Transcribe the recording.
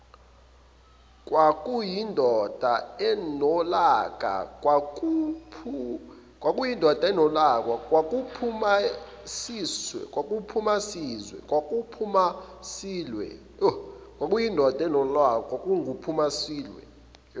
kwakuyindoda enolaka kwakunguphumasilwe